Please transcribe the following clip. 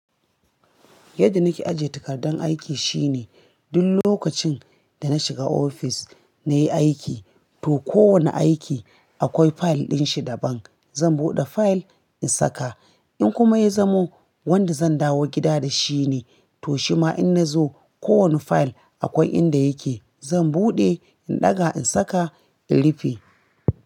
Yadda nake ajiye takardun aiki shine, duk lokacin da na shiga ofis na yi aiki, to kowane aiki akwai fayil ɗin shi daban. Zan buɗe fayil in saka. In kuma ya zamo wanda zan dawo gida da shi ne, to shima in na zo, ko wani fayil akwai inda yake, zan buɗe, in ɗaga in saka, in rufe.